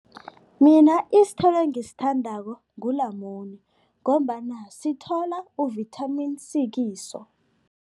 Mina isithelo engisithandako ngulamune ngombana sithola u-Vitamin C kiso.